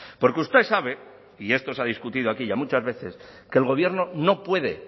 porque usted sabe y esto se ha discutido aquí ya muchas veces que el gobierno no puede